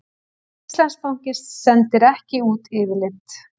Íslandsbanki sendir ekki út yfirlit